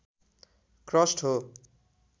crust हो